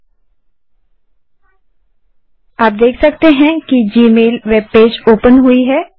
अब आप देख सकते हैं स्क्रीन पर जीमेल वेबपेज ओपन हुई है